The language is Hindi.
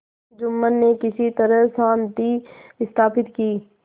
जुम्मन ने किसी तरह शांति स्थापित की